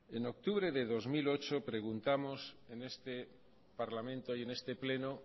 en octubre de dos mil ocho preguntamos en este parlamento y en este pleno